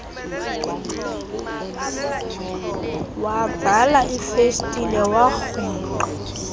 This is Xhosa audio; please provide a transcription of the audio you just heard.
wavala ifestile yagrungqa